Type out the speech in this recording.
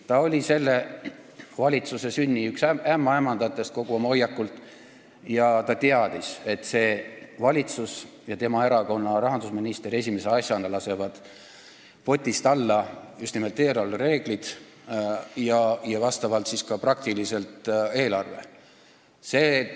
Ta oli kogu oma hoiakult praeguse valitsuse sünni üks ämmaemandatest ja teadis, et see valitsus ja tema erakonna rahandusminister lasevad esimese asjana potist alla just nimelt eelarvereeglid ja siis praktiliselt ka eelarve.